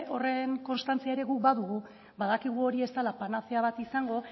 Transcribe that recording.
horren kostantzia ere guk badugu badakigu hori ez dela panazea bat izango